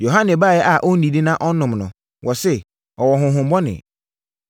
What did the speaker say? Yohane baeɛ a ɔnnidi na ɔnnom no, wɔse, ‘Ɔwɔ honhommɔne.’